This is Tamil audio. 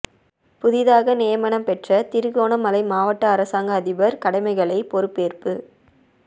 புதிதாக நியமனம் பெற்ற திருகோணமலை மாவட்ட அரசாங்க அதிபர் கடமைகளை பொறுப்பேற்பு